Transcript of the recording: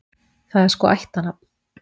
Það er sko ættarnafn.